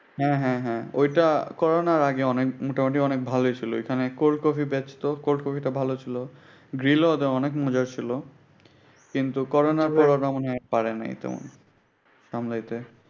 হ্যাঁ হ্যাঁ হ্যাঁ ঐটা করণার আগে অনেক মোটামুটি অনেক ভালোই ছিল। এইখানে cold coffee বেচত। cold coffee টা ভালোই ছিল। গ্রিলও অনেক মজা ছিল আগে। কিন্তু করণার কারণে মনে হয় পারেনাই তেমন সামলাইতে।